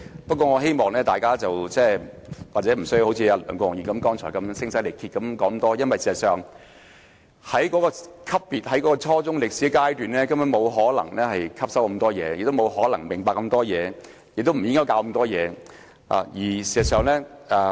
不過，大家亦無須像梁國雄議員剛才那樣聲嘶力竭，因為學生在初中階段，根本不可能對中史科吸收太多，亦不可能明白太多，學校亦不應教授太多。